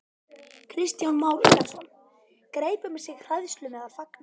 Kristján Már Unnarsson: Greip um sig hræðsla meðal fanga?